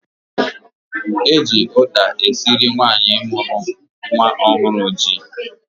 Eji ụda esiri nwaanyị mụrụ nwa ọhụrụ ji.